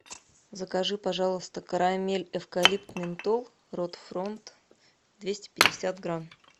закажи пожалуйста карамель эвкалипт ментол рот фронт двести пятьдесят грамм